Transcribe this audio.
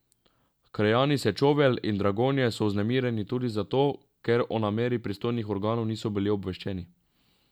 Krajani Sečovelj in Dragonje so vznemirjeni tudi zato, ker o nameri pristojnih organov niso bili obveščeni.